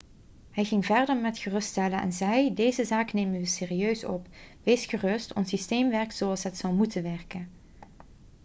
hij ging verder met geruststellen en zei: 'deze zaak nemen we serieus op. wees gerust ons systeem werkt zoals het zou moeten werken.'